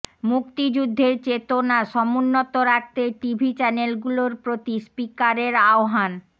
মুক্তিযুদ্ধের চেতনা সমুন্নত রাখতে টিভি চ্যানেলগুলোর প্রতি স্পিকারের আহ্বান